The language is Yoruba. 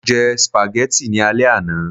mo je spaghetti ni ale àná